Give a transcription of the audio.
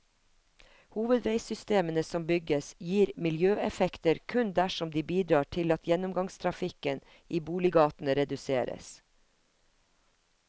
Hovedveisystemene som bygges gir miljøeffekter kun dersom de bidrar til at gjennomgangstrafikken i boliggatene reduseres.